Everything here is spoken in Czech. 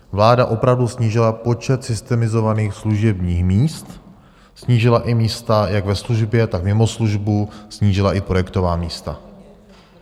Vláda opravdu snížila počet systemizovaných služebních míst, snížila i místa jak ve službě, tak mimo službu, snížila i projektová místa.